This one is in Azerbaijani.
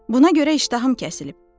Buna görə iştahım kəsilib.